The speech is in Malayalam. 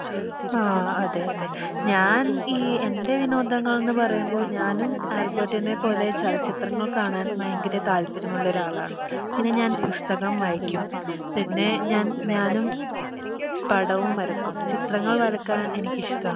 ആ അതെ അതെ ഞാൻ ഈ എൻ്റെ വിനോദങ്ങളന്ന് പറയുമ്പോ ഞാനും ആൽബെർട്ടിനെ പോലെ ചലച്ചിത്രങ്ങൾ കാണാൻ വയങ്കര താല്പര്യമുള്ളൊരാളാണ് പിന്നെ ഞാൻ പുസ്തകം വായിക്ക്യും പിന്നെ ഞാൻ ഞാനും പടവും വരക്കും ചിത്രങ്ങൾ വരക്കാൻ എനിക്കിഷ്ടാണ്